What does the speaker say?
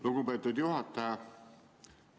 Lugupeetud juhataja!